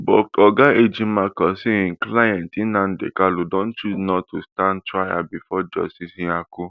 but oga ejimakor say im client nnamdi kanu don choose not to stand trial bifor justice nyako